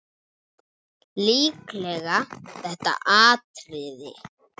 Líklega þetta atriði.